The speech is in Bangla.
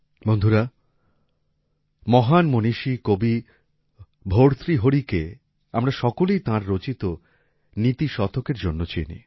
বন্ধুরা মহান মনীষী কবি ভর্তৃহরিকে আমরা সকলেই তাঁর রচিত নীতিশতকের জন্য চিনি